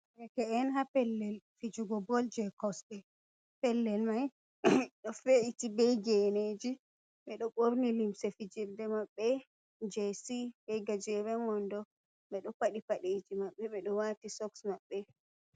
Derke'en ha pellel fijugo bol je kosɗe, pellel mai ɗo ve’iti bei geneji ɓeɗo ɓorni limse fijirde maɓɓe je c be gajeren wondo ɓeɗo padi padeji maɓɓe ɓeɗo wati soks maɓɓe.